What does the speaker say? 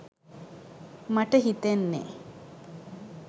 මට හිතෙන්නේ